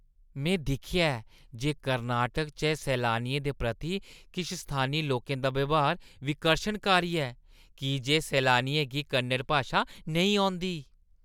में दिक्खेआ ऐ जे कर्नाटक च सैलानियें दे प्रति किश स्थानी लोकें दा ब्यहार विकर्शनकारी ऐ की जे सैलानियें गी कन्नड़ भाशा नेईं औंदी।